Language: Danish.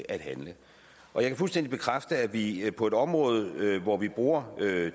at handle jeg kan fuldstændig bekræfte at vi på et område hvor vi bruger